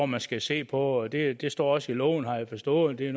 man skal se på det det står også i loven har jeg forstået det er